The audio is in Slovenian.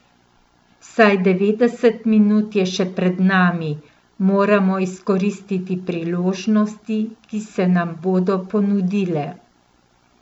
Vsaj devetdeset minut je še pred nami, moramo izkoristiti priložnosti, ki se nam bodo ponudile.